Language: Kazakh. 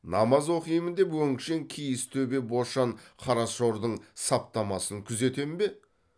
намаз оқимын деп өңшең киіз төбе бошан қарашордың саптамасын күзетем бе